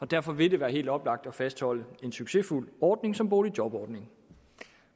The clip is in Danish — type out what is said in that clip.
derfor vil det være helt oplagt at fastholde en succesfuld ordning som boligjobordningen